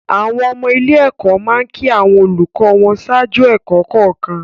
Àwọn ọmọ ilé-ẹ̀kọ́ máa ń kí àwọn olùkọ́ wọn ṣáájú ẹ̀kọ́ kọ̀ọ̀kan.